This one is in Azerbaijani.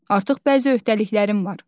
Artıq bəzi öhdəliklərim var.